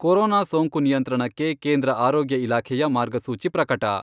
Corona ಸೋಂಕು ನಿಯಂತ್ರಣಕ್ಕೆ ಕೇಂದ್ರ ಆರೋಗ್ಯ ಇಲಾಖೆಯ ಮಾರ್ಗಸೂಚಿ ಪ್ರಕಟ.